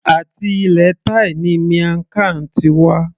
Àti ilẹ̀ thai ni miamg Khan ti wá